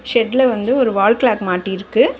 ஷெட்ல வந்து ஒரு wall clock மாட்டிர்க்கு.